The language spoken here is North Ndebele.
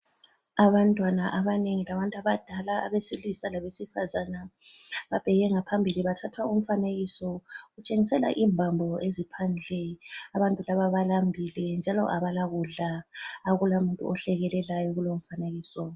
Abantwana abanengi labantu abadala abesilisa labesifazana, babheke ngaphambili bathatha umfanekiso. Utshengisela imbambo eziphandle. Abantu laba balambile njalo abalakudla. Akulamuntu ohlekelelayo kulomfanekiso.